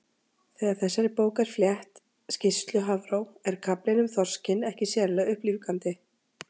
Þegar þessari bók er flett, skýrslu Hafró, er kaflinn um þorskinn ekki sérlega upplífgandi.